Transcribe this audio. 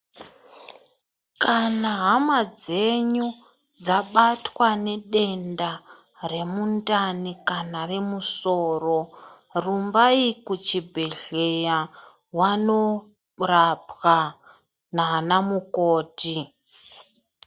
Kana hama dzenyu dzabatwa nedenda remundani kana remusoro, rumbai kuchibhedhleya vano rapwa nana mukoti.